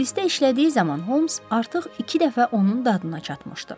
Polisdə işlədiyi zaman Homs artıq iki dəfə onun dadına çatmışdı.